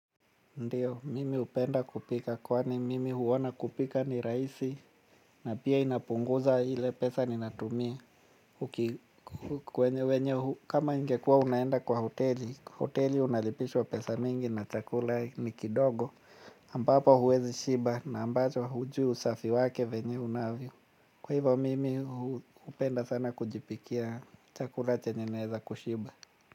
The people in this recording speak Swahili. Ndiyo, mimi hupenda kupika, kwani mimi huona kupika ni rahisi, na pia inapunguza ile pesa ninatumia. Kwenye wenye, kama ingekua unaenda kwa hoteli, hoteli unalipishwa pesa mingi na chakula ni kidogo, ambapo huwezi shiba na ambacho hujui usafi wake venye unavyo. Kwa hivyo, mimi hupenda sana kujipikia chakula chenye naweza kushiba.